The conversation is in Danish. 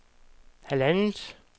halvandet